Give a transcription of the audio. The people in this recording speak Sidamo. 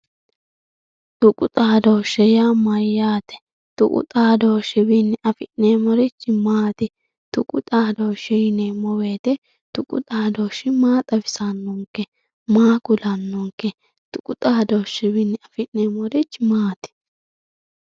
Tuqu xadoshe yaa mayaate tuqu xadoshiwichini afinemorichi maati tuqu xadoshe yinemowoyit tuqu xadoshi maa xawisano maa kulanonke tuqu xadoshiwichini afinemorichi maati.